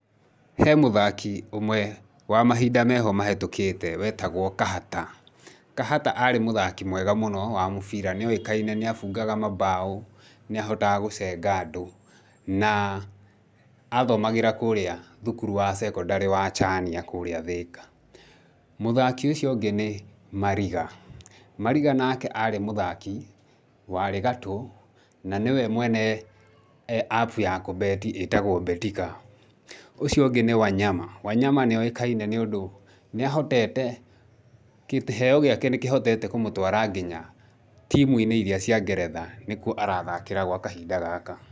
He mũthaki ũmwe wa mahinda meho mahĩtũkĩte, wetagwo Kahata. Kahata arĩ mũthaki mwega mũno wa mũbira, nĩ oĩkaine nĩ abungaga mabao, nĩ ahotaga gũcenga andũ na athomagĩra kũrĩa thukuru wa sekondari wa Chania, kũrĩa Thika. Mũthaki ũcio ũngĩ nĩ Mariga. Mariga nake arĩ mũthaki warĩ gatũ, na nĩwe mwene app ya kũ bet ĩtagwo Betika. Ũcio ũngĩ nĩ Wanyama. Wanyama nĩ oĩkaine nĩũndũ nĩahotete, kĩheo gĩake nĩ kĩhotete kũmũtwara nginya timu-inĩ iria cia Ngeretha, nĩ kuo arathakĩra gwa kahinda gaka.